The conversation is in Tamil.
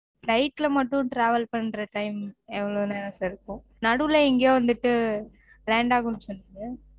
flight ல மட்டும் travel பண்ற time எவ்ள நேரம் sir இருக்கும் நடுவுல எங்கயொ வந்துட்டு land ஆகும் சொன்னீங்க